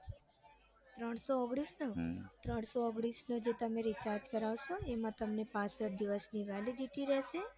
ત્રણસો ઓગણીસ નો હમ ત્રણસો ઓગણીસનો તમે જે recharge કરાવશો દિવસની validity રેસે